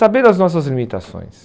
Saber as nossas limitações.